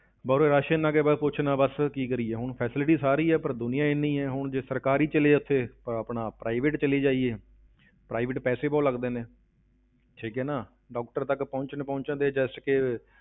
ਬਸ ਉਰੇ rush ਇੰਨਾ ਕਿ ਬਸ ਪੁੱਛ ਨਾ ਬਸ ਕੀ ਕਰੀਏ, ਹੁਣ facility ਸਾਰੀ ਹੈ, ਪਰ ਦੁਨੀਆਂ ਇੰਨੀ ਹੈ, ਹੁਣ ਜੇ ਸਰਕਾਰੀ ਚੱਲੇ ਜਾਈਏ ਉੱਥੇ ਅਹ ਆਪਣਾ private ਚਲੇ ਜਾਈਏ private ਪੈਸੇ ਬਹੁਤ ਲੱਗਦੇ ਨੇ ਠੀਕ ਹੈ ਨਾ doctor ਤੱਕ ਪਹੁੰਚਦੇ ਪਹੁੰਚਦੇ just ਕਿ